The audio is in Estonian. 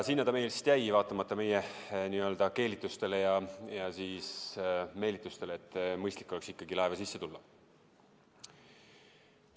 Sinna ta meist jäi, vaatamata meie keelitustele ja meelitustele, et mõistlik oleks ikkagi laeva sisse tulla.